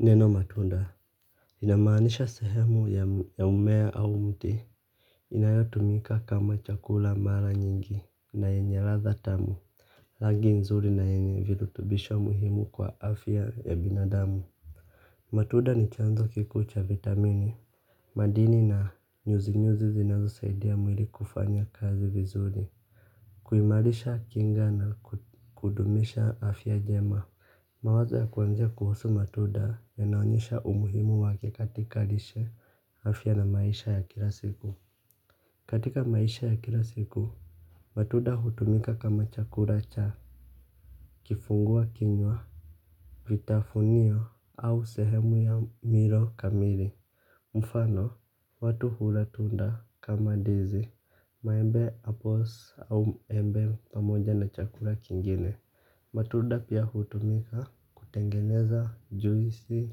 Neno matunda. Inamaanisha sehemu ya mmea au mti. Inayotumika kama chakula mara nyingi na yenye ladha tamu rangi nzuri na yenye virutubisho muhimu kwa afya ya binadamu matunda ni chanzo kikuu cha vitamini. Madini na nyuzi nyuzi zinazo saidia mwili kufanya kazi vizuri kuimarisha kinga na kudumisha afya njema mawazo ya kuanzia kuhusu matunda yanaonyesha umuhimu wake katika lishe afya na maisha ya kila siku. Katika maisha ya kila siku, matunda hutumika kama chakula cha kifungua kinywa, vitafunio au sehemu ya milo kamili. Mfano, watu hulatunda kama ndizi, maembe apples au embe pamoja na chakula kingine. Matunda pia hutumika kutengeneza juisi,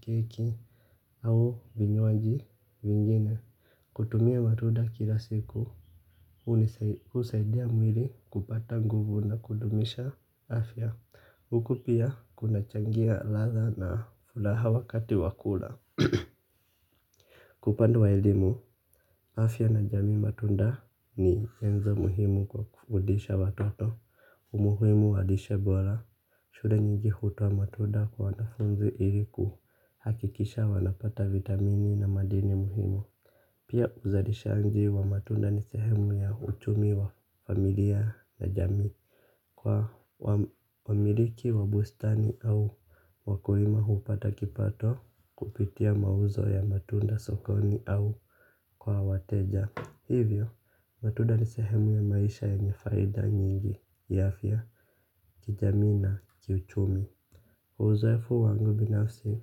keki au vinywaji vingine. Kutumia matunda kila siku, husaidia mwili kupata nguvu na kudumisha afya hukupia kunachangia ladha na lahawa wakati wa kula. Kwa upande wa elimu, afya na jamii matunda ni enzo muhimu kwa kufundisha watoto. Umuhimu walishe bora shule nyingi hutoa matunda kwa wanafunzi iliku hakikisha wanapata vitamini na madini muhimu pia uzalishangi wa matunda ni sehemu ya uchumi wa familia na jamii. Kwa wamiliki wa bustani au wakulima hupata kipato kupitia mauzo ya matunda sokoni au kwa wateja. Hivyo, matunda ni sehemu ya maisha yenye faida nyingi ya afya. Kijamii na kiuchumi uzoefu wangu binafsi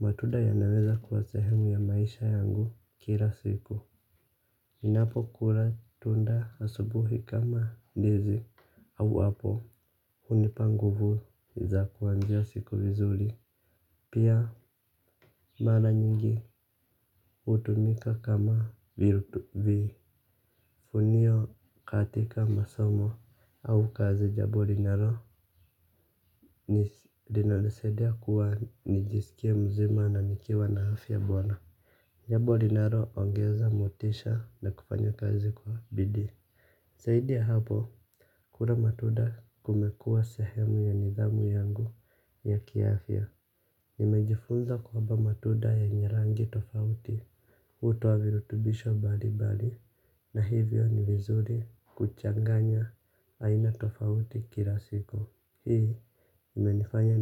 matunda yanaweza kuwa sehemu ya maisha yangu kila siku. Ninapo kula tunda asubuhi kama ndizi au apple hunipa nguvu za kuanzia siku vizuri. Pia mara nyingi hutumika kama vifunio katika kama masomo au kazi jambo linalo linanisaidia kuwa nijiskie mzima na nikiwa na afya bora, jambo linaloongeza motisha na kufanya kazi kwa bidii zaidi ya hapo kula matunda kumekuwa sehemu ya nidhamu yangu ya kiafya nimejifunza kwamba matunda yenye rangi tofauti hutoa virutubisho mbalimbali na hivyo ni vizuri kuchanganya haina tofauti kila siku. Hii imenifanya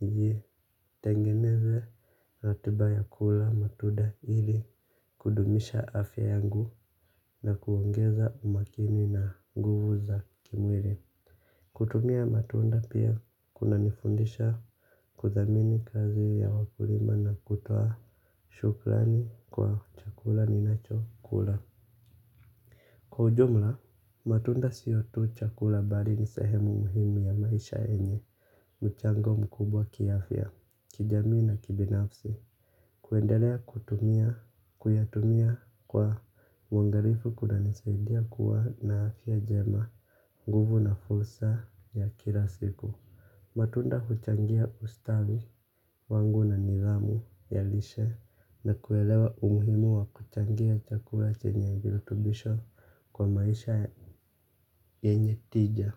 nitengeneze ratiba ya kula matunda ili kudumisha afya yangu na kuongeza umakini na nguvu za kimwili. Kutumia matunda pia kunanifundisha kuthamini kazi ya wakulima na kutoa shukrani kwa chakula ninacho kula. Kwa ujumla, matunda siyo tu chakula bali ni sehemu muhimu ya maisha yenye, mchango mkubwa kiafya, kijamii na kibinafsi. Kuendelea kutumia, kuyatumia kwa uangalifu kunanisadia kuwa na afya njema, nguvu na fursa ya kila siku. Matunda huchangia ustawi wangu na nidhamu ya lishe na kuelewa umuhimu wa kuchangia chakua chenye virutubisho kwa maisha yenye tija.